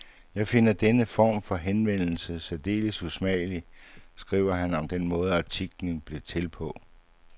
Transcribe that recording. Jeg finder denne form for henvendelse særdeles usmagelig, skriver han om den måde, artiklen blev til på.